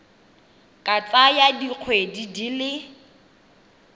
ka tsaya dikgwedi di le